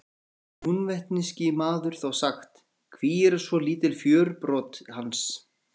Heyrði hinn húnvetnski maður þá sagt: Hví eru svo lítil fjörbrot hans?